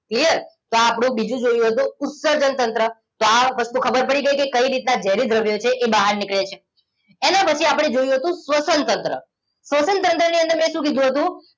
clear તો આ આપણું બીજું જોયું હતું ઉત્સર્જન તંત્ર તો આ વસ્તુ ખબર પડી ગઈ કે કઈ રીતના ઝેરી દ્રવ્યો છે એ બહાર નીકળે છે એના પછી આપણે જોયું હતું શ્વસનતંત્ર શ્વસનતંત્રની અંદર મેં શું કીધું હતું